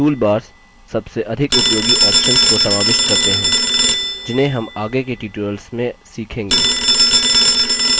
toolbars सबसे अधिक उपयोगी options को समाविष्ट करते हैं जिन्हें हम आगे के tutorials में सीखेंगे